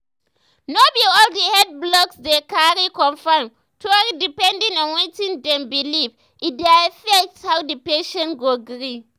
no be all the health blogs dey cari confirm tori depending on wetin dem believe e dey affect how the patient go gree.